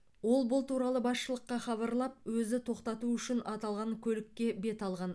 ол бұл туралы басшылыққа хабарлап өзі тоқтату үшін аталған көлікке бет алған